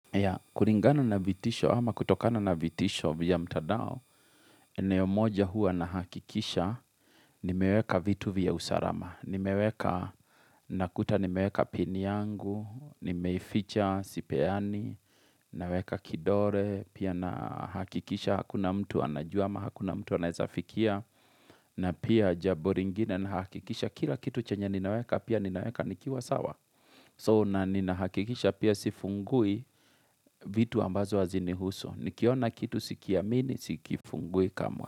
Ya, kuringano na vitisho ama kutokano na vitisho vya mtandao, eneo moja huwa nahakikisha, nimeweka vitu vya usarama. Nimeweka nakuta nimeweka pini yangu, nimeificha, sipeani, naweka kidore, pia na hakikisha, hakuna mtu anajua ama hakuna mtu anawefikia, na pia jabo ringine na hakikisha, kila kitu chenye ninaweka, pia ninaweka nikiwa sawa. So, na ninahakikisha pia sifungui vitu ambazo hazinihusu, Nikiona kitu sikiamini, sikifungui kamwe.